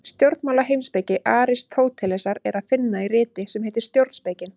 Stjórnmálaheimspeki Aristótelesar er að finna í riti sem heitir Stjórnspekin.